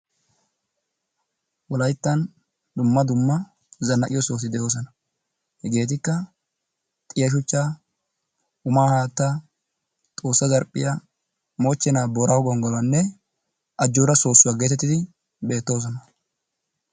Wolayttan dumma dumma zanaqqiyo sohoti de'oosona. Hageetikka xiya shuchchaa, umaa haattaa, Xoossa zarphphiya, moochchanaa booraago gonggoluwanne ajjooraa soossuwa gettettidi beettoosona.